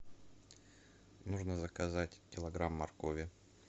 нужно заказать килограмм моркови